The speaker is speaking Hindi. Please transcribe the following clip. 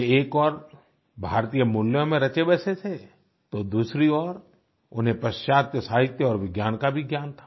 वे एक ओर भारतीय मूल्यों में रचेबसे थे तो दूसरी ओर उन्हें पाश्चात्य साहित्य और विज्ञान का भी ज्ञान था